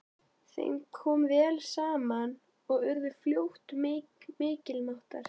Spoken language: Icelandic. Þeim kom vel saman og urðu fljótt miklir mátar.